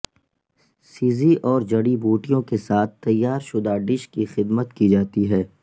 سیزی اور جڑی بوٹیوں کے ساتھ تیار شدہ ڈش کی خدمت کی جاتی ہے